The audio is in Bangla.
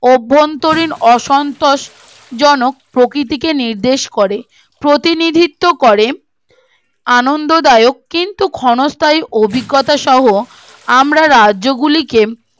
অভ্যন্তরীন অসন্তোষ জনক প্রকৃতিকে নির্দেশ করে প্রতিনিধিত্বও করে আনন্দদায়ক কিন্তু ক্ষণস্থায়ী অভিজ্ঞতা সহ আমরা রাজ্য গুলিকে